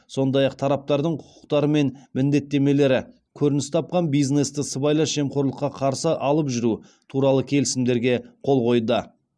сондай ақ тараптардың құқықтары мен міндеттемелері көрініс тапқан бизнесті сыбайлас жемқорлыққа қарсы алып жүру туралы келісімдерге қол қойды